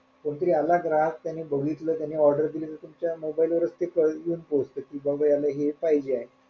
कोण तरी आला ग्राहक त्यांनी बघितलं त्यांनी order दिली तर तुमच्या mobile वरच ती येऊन पोहोचते कि बाबा ह्याला हे पाहिजेय.